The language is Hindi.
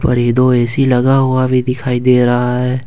और ये दो ए_सी लगा हुआ भी दिखाई दे रहा है।